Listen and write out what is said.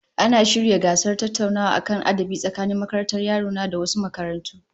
Ana shirya gasar tattaunawa kan adabi tsakanin makarantar yaro na da wasu makarantu